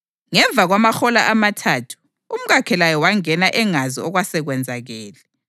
Ngemva kwamahola amathathu umkakhe laye wangena engazi okwasekwenzakele.